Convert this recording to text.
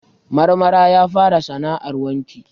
Marmara ya fara sana'ar wanki.